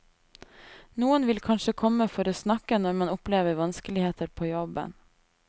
Noen vil kanskje komme for å snakke når man opplever vanskeligheter på jobben.